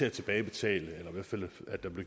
at tilbagebetale